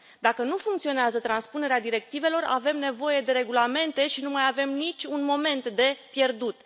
Dacă nu funcționează transpunerea directivelor, avem nevoie de regulamente și nu mai avem niciun moment de pierdut.